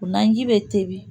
O naji bɛ tobi